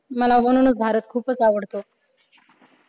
मला म्हणूनच भारत खूपच आवडतो.